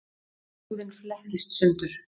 Húðin flettist sundur.